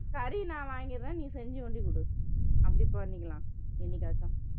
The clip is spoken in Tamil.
கறி நான் வாங்கிடுறேன் நீ செஞ்சு ஒண்டி கொடு அப்படி பண்ணிக்கலாம் என்னைக்காச்சும்